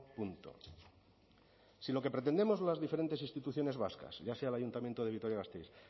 punto si lo que pretendemos las diferentes instituciones vascas ya sea el ayuntamiento de vitoria gasteiz